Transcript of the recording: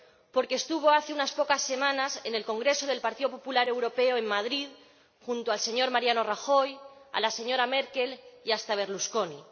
Porque estuvo hace unas pocas semanas en el Congreso del Partido Popular Europeo en Madrid junto al señor Mariano Rajoy, a la señora Merkel y hasta a Berlusconi.